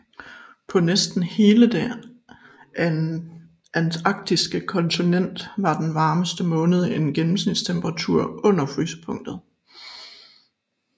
På næsten hele det antarktiske kontinent har den varmeste måned en gennemsnitstemperatur under frysepunktet